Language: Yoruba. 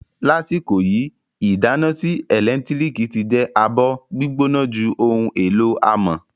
Lasiko yi, idana sii elentiriki ti je abo-gbigbona ju ohun elo amọ